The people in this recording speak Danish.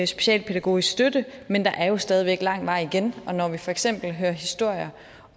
specialpædagogisk støtte men der er jo stadig væk lang vej igen og når vi for eksempel hører historier